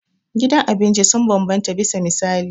Gidan abinci sun bambanta bisa misali.